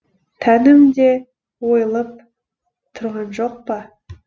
тәнім де ойылып тұрған жоқ па